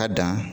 Ka dan